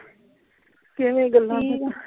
ਕਿਵੇਂ ਗੱਲਾਂ ?